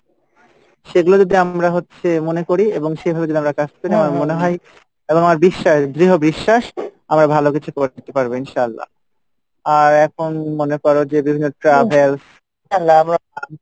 সেগুলো যদি আমরা হচ্ছে মনে করি এবং সেভাবে যদি আমরা কাজ করি আমার মনে হয় কারণ আমার বিশ্বাস দৃহ বিশ্বাস আমরা ভালো কিছু করতে পারবো ইনশাল্লাহ আর এখন মনে করো যে বিভিন্ন travels